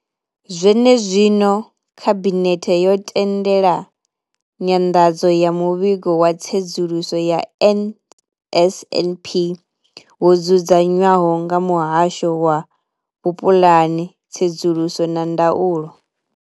Zwene zwino, Khabinethe yo tendela nyanḓadzo ya Muvhigo wa Tsedzuluso ya NSNP wo dzudzanywaho nga Muhasho wa Vhupulani, Tsedzuluso na Ndaulo.